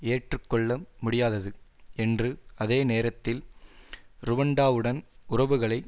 ஏற்றுக்கொள்ள முடியாதது என்றும் அதே நேரத்தில் ருவண்டாவுடன் உறவுகளை